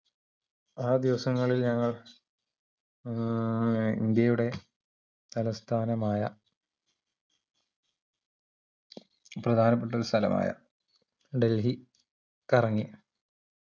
ആ ദിവസങ്ങളിൽ ഞങ്ങൾ ഏർ ഇന്ത്യയുടെ തലസ്ഥാനമായ പ്രധാപ്പെട്ട ഒര് സ്ഥലമായ ഡൽഹി കറങ്ങി